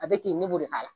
A bɛ ten ne b'o de k'a la